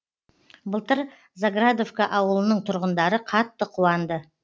былтыр заградовка ауылының тұрғындары қатты қуанды